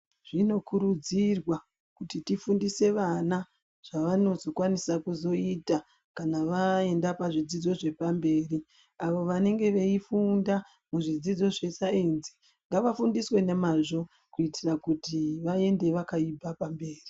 Zvinokurudzirwa kuti tifundise vana zvavazokwanisa kuita kana vaenda kuzvidzidzo zvepamberi. Avo vange veifunda pazvidzidzo zvesainzi, ngavafundiswe ngemwazvo kuitira kuti vaende vakaibva pamberi.